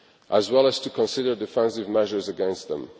as well as to consider defensive measures against them.